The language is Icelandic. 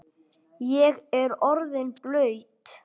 Ég er orðinn blaut